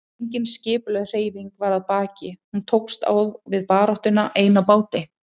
Engin skipulögð hreyfing var að baki, hún tókst á við baráttuna ein á báti.